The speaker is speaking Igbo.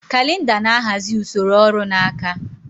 Kalịnda na-ahazi usoro ọrụ n'aka.